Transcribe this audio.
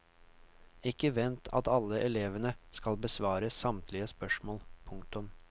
Ikke vent at alle elevene skal besvare samtlige spørsmål. punktum